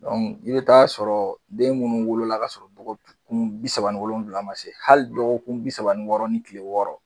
i bɛ t'a sɔrɔ den minnu wolola k'a sɔrɔ dɔgɔkun bi saba ni wolonwula ma se hali dɔgɔkun kun bi saba ni wɔɔrɔ ni tile wɔɔrɔ